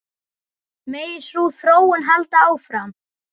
Megi sú þróun halda áfram.